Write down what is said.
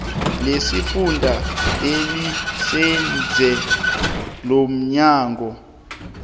lesifunda eliseduze lomnyango